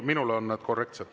Minul on nad korrektsed.